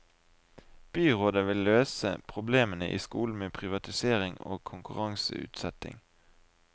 Byrådet vil løse problemene i skolen med privatisering og konkurranseutsetting.